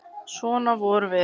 Svona vorum við.